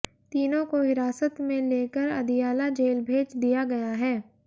तीनों को हिरासत में लेकर अदियाला जेल भेज दिया गया है